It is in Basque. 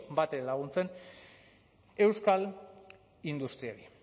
batere laguntzen euskal industriari